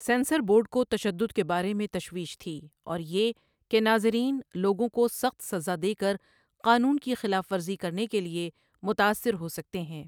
Censor board کو تشدد کے بارے میں تشویش تھی، اور یہ کہ ناظرین لوگوں کو سخت سزا دے کر قانون کی خلاف ورزی کرنے کے لیے متاثر ہو سکتے ہیں۔